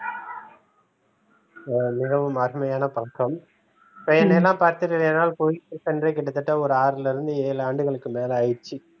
ஆஹ் மிகவும் அருமையான பழக்கம் பழனியெல்லாம் பார்த்துட்டு கிட்டத்தட்ட ஒரு ஆறுல இருந்து ஏழு ஆண்டுகளுக்கு மேல ஆயிடுச்சு